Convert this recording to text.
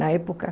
Na época.